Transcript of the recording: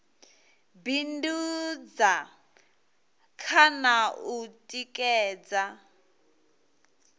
bindudza kha na u tikedza